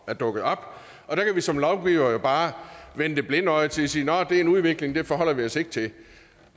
er dukket op og der kan vi som lovgivere jo bare vende det blinde øje til og sige nå det er en udvikling men den forholder vi os ikke til